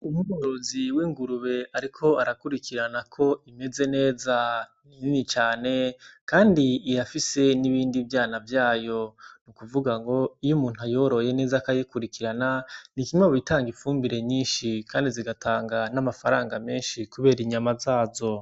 Umworozi w'ingurube ariko arakurikirana ko imeze neza. Iyo ngurube ni nini cane kandi irafise n'ibindi vyana vyayo. Nukuvuga ngo iyo umuntu ayoroye neza akayikurikirana, ni kimwe mu bitanga ifumbire nyinshi. Kandi zigatanga n' amafaranga menshi kubera inyama zazo.